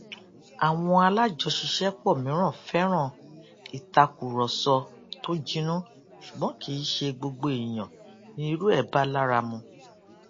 awọn alájọṣiṣẹpọ mìíràn fẹran ìtàkùrọsọ tó jinnú ṣùgbón kì í ṣe gbogbo èèyàn ni irú ẹ bá lára mu